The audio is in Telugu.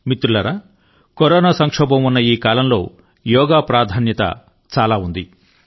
మిత్రులారా కరోనా సంక్షోభం ఉన్న ఈ కాలంలో యోగా ప్రాధాన్యత చాలా ఉంది